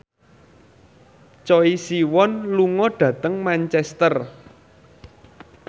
Choi Siwon lunga dhateng Manchester